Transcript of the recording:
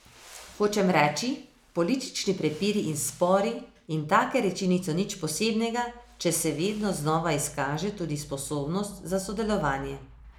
Hočem reči, politični prepiri in spori in take reči niso nič posebnega, če se vedno znova izkaže tudi sposobnost za sodelovanje.